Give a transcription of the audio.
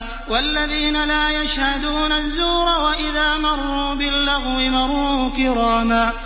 وَالَّذِينَ لَا يَشْهَدُونَ الزُّورَ وَإِذَا مَرُّوا بِاللَّغْوِ مَرُّوا كِرَامًا